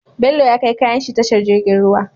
Bello ya kai kayan shi tashar jirgin ruwa